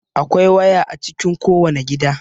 Akwai waya a cikin kowane gida.